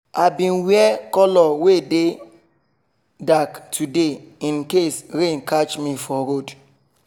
i bin wear colour wey dark today in case rain catch me for road